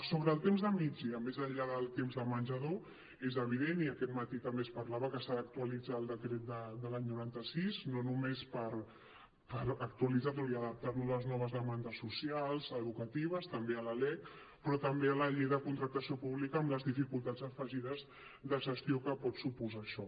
sobre el temps del migdia més enllà del temps de menjador és evident i aquest mati també se’n parlava que s’ha d’actualitzar el decret de l’any noranta sis no només per actualitzar lo i adaptar lo a les noves demandes socials educatives també a la lec però també a la llei de contractació pública amb les dificultats afegides de gestió que pot suposar això